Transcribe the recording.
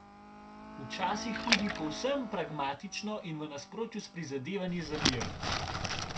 Včasih tudi povsem pragmatično in v nasprotju s prizadevanji za mir.